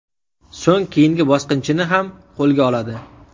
So‘ng keyingi bosqinchini ham qo‘lga oladi.